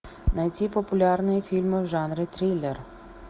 найти популярные фильмы в жанре триллер